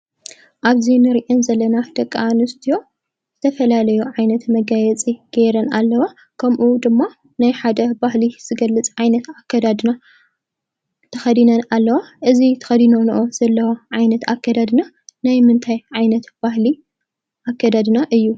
ኣብዚ ንሪአን ዘለና ደቂ ኣንስትዮ ዝተፈላለዩ ዓይነት መጋየፂ ገይረን ኣለዋ። ከምኡ ድማ ናይ ሓደ ባህሊ ዝገልፅ ዓይነት ኣከዳድና ተኸዲነን ኣለዋ። እዚ ተኸዲነንኦ ዘለዋ ዓይነት ኣከዳድና ናይ ምንታይ ዓይነት ባህሊ ኣከዳድና እዩ?